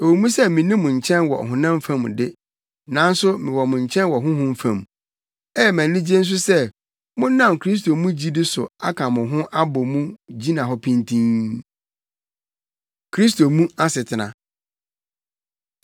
Ɛwɔ mu sɛ minni mo nkyɛn wɔ ɔhonam fam de, nanso mewɔ mo nkyɛn wɔ honhom fam. Ɛyɛ me anigye nso sɛ monam Kristo mu gyidi so aka mo ho abɔ mu gyina hɔ pintinn. Kristo Mu Asetena